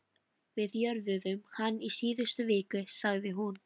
Við jörðuðum hann í síðustu viku, sagði hún.